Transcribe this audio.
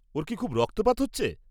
ওর কি খুব রক্তপাত হচ্ছে?